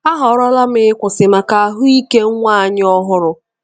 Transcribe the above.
Ahọrọla m ịkwụsị maka ahụike nwa anyị ọhụrụ.